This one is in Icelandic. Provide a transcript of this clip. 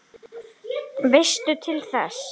Veistu til þess?